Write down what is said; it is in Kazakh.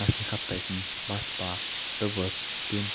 насихаттайтын баспа дыбыс пен